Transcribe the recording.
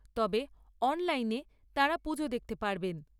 তবে, অনলাইনে তাঁরা পুজো দেখতে পারবেন।